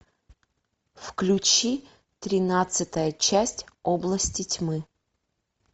включи тринадцатая часть области тьмы